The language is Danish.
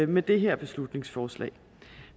med det her beslutningsforslag